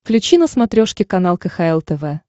включи на смотрешке канал кхл тв